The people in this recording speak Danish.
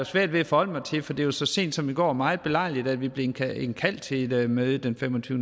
svært ved at forholde mig til for det var jo så sent som i går meget belejligt at vi blev indkaldt indkaldt til et møde den fem og tyve